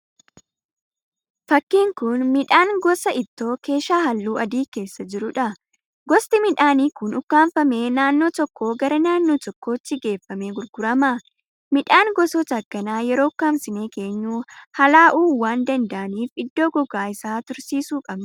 Fakkiin kun miidhaan gosa ittoo keeshaa halluu adii keessa jiruudha. Gosti midhaanii kun ukkaanfamee naannoo tokko gara naannoo tokkootti geeffamee gurgurama. Midhaan gosoota akkanaa yeroo ukkansinee keenyu halaa'uu waan danda'aaniif iddoo gogaa isaa tursiisuu qabna.